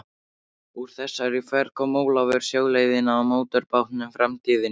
Úr þessari ferð kom Ólafur sjóleiðina á mótorbátnum Framtíðinni.